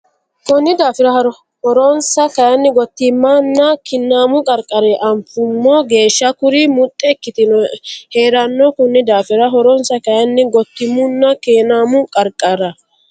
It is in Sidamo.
Konni daafira horonsa kayinni gottiimunna kinnaamu qarqarira anfummo geeshsha kuri muxxe ikkitino hee ranno Konni daafira horonsa kayinni gottiimunna kinnaamu qarqarira.